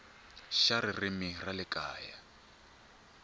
xa ririmi ra le kaya